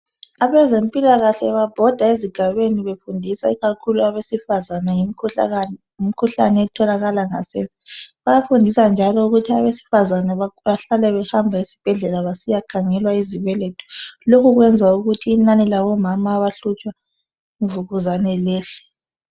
Abezempilakahle babhoda ezigabeni befundisa ikakhulu abesifazane ngemkhuhlane etholakala ngasese bayafundisa njalo ukuthi abesifazane bahlale behamba esibhedlela besiyakhangelwa izibeletho lokhu kwenza ukuthi inani labomama abahlutshwa yimvukuzane lehle.